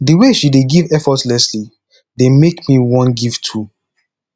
the way she dey give effortlessly dey make me wan give too